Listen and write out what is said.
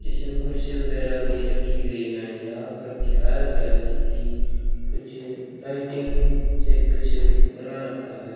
जिसमें कुर्सी वगैरा भी रखी गई हैं यहां पर दिखाया गया है कि कुछ लाइटिंग से कुछ बना रखा है।